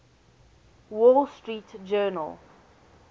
wall street journal